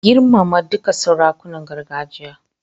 Girmama dukkan sarakunan gargajiya.